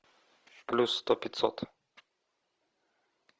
плюс сто пятьсот